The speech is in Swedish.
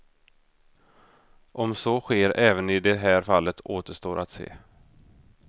Om så sker även i det här fallet återstår att se.